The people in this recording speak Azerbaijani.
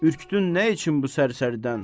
ürkütdün nə üçün bu sər-sərdən?